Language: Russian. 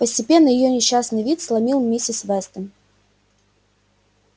постепенно её несчастный вид сломил миссис вестон